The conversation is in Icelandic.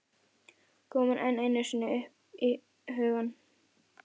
Kom hún enn einu sinni upp í hugann!